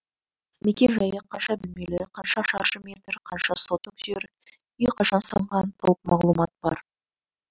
мекен жайы қанша бөлмелі қанша шаршы метр қанша соток жер үй қашан салынған толық мағлұмат бар